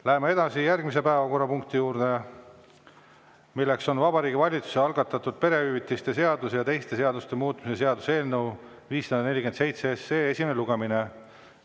Läheme edasi järgmise päevakorrapunkti juurde, mis on Vabariigi Valitsuse algatatud perehüvitiste seaduse ja teiste seaduste muutmise seaduse eelnõu 547 esimene lugemine.